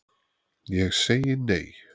Ég segi nei,